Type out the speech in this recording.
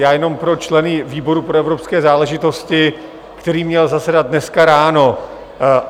Já jenom pro členy výboru pro evropské záležitosti, který měl zasedat dneska ráno.